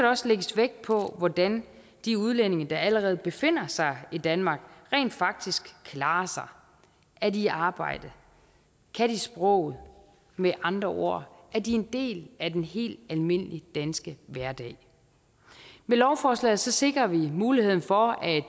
også lægges vægt på hvordan de udlændinge der allerede befinder sig i danmark rent faktisk klarer sig er de i arbejde kan de sproget med andre ord er de en del af den helt almindelige danske hverdag med lovforslaget sikrer vi muligheden for at